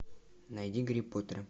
найди гарри поттера